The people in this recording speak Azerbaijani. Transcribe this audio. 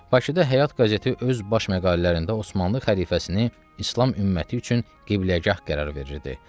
Bakıda Həyat qəzeti öz baş məqalələrində Osmanlı xəlifəsini İslam ümməti üçün qibləgah qərar verirdi.